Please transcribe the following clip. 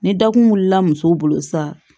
Ni dakun wulila muso bolo sisan